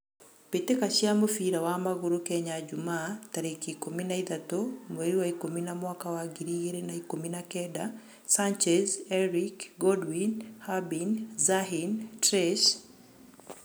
Mbitika cia mũbira wa magũrũ Kenya jumaa, tarekĩ ikũmi na ithatũ, mweri wa ikũmi na mwaka wa ngiri ĩgirĩ na ikũmi na kenda: Sanchez, Erick, Godwin, Harbin, zahin, Trace